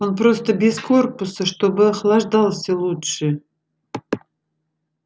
он просто без корпуса чтобы охлаждался лучше